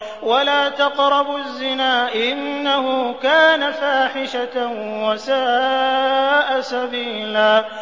وَلَا تَقْرَبُوا الزِّنَا ۖ إِنَّهُ كَانَ فَاحِشَةً وَسَاءَ سَبِيلًا